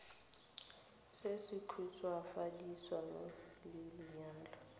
se se khutswafaditsweng sa lenyalo